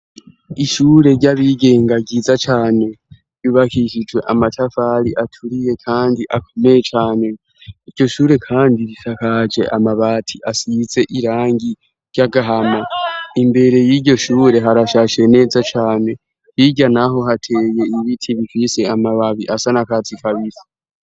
Ishure ry'abigenga ryiza cane bibakishijwe amatavari aturiye, kandi akomeye cane iryo shure, kandi risakaje amabati asize irangi ry'agahama imbere y'iryo shure harashashie neza cane rirya, naho hateye ibiti bitwise amababi asana kaa acikabisi.